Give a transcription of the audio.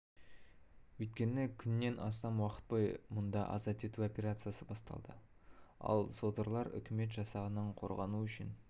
өйткені күннен астам уақыт бойы мұнда азат ету операциясы басталды ал содырлар үкімет жасағынан қорғану үшін